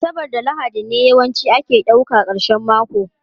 Asabar da Lahadi ne yawanci ake ɗauka karshen mako